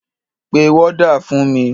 Pe wọ́dà fún mi!